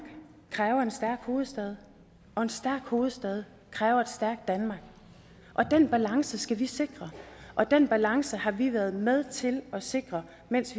kræver en stærk hovedstad og en stærk hovedstad kræver et stærkt danmark den balance skal vi sikre og den balance har vi været med til at sikre mens